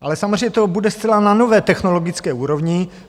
Ale samozřejmě to bude zcela na nové technologické úrovni.